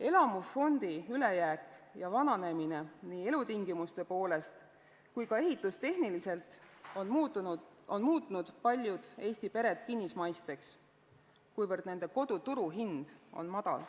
Elamufondi ülejääk ja vananemine nii elutingimuste poolest kui ka ehitustehniliselt on muutnud paljud Eesti pered kinnismaiseks, kuivõrd nende kodu turuhind on madal.